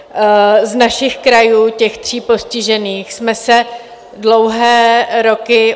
Z našich krajů, těch tří postižených, jsme se dlouhé roky...